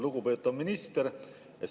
Lugupeetav minister!